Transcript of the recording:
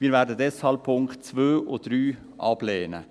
Wir werden deshalb die Punkte 2 und 3 ablehnen.